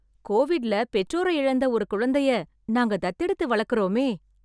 கோவிட்ல பெற்றோரை இழந்த ஒரு குழந்தைய நாங்க தத்து எடுத்து வளர்க்கறோமே...